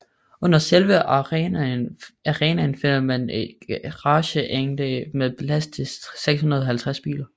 Under selve arenaen finder man et garageanlæg med plads til 650 biler